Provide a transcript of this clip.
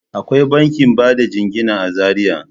Akwai bankin bada jingina a Zariya.